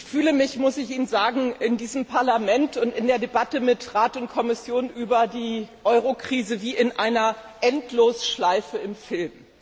Ich fühle mich in diesem Parlament und in der Debatte mit Rat und Kommission über die Eurokrise wie in einer Endlosschleife im Film.